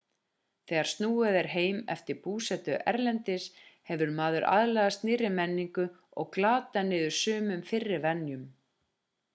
þegar snúið er heim eftir búsetu erlendis hefur maður aðlagast nýrri menningu og glatað niður sumum fyrri venjum